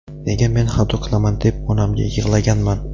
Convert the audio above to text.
nega men xato qilaman deb onamga yig‘laganman.